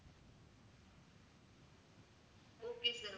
okay sir